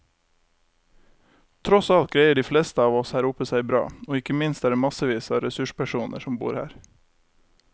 Tross alt greier de fleste av oss her oppe seg bra, og ikke minst er det massevis av ressurspersoner som bor her.